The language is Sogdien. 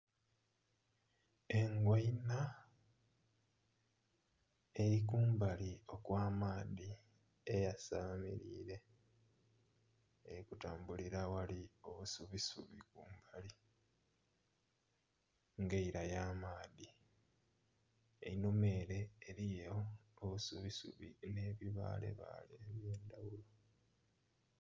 Engoina eli kumbali okw'amaadhi eyasamilire eri kutambulira aghali obusubisubi nga eira y'amaadhi, einhuma ere eriyo obusubisubi n'ebibaalebaale eby'endhaghulo.